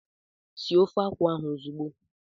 Sie ofe akwụ ahụ ozugbo!